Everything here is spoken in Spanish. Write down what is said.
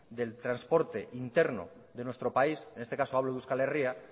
del transporte interno de nuestro país en este caso hablo de euskal herria